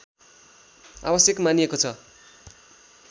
आवश्यक मानिएको छ